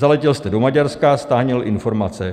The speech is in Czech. Zaletěl jste do Maďarska, sháněl informace.